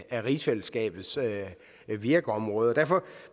af rigsfællesskabets virkeområde derfor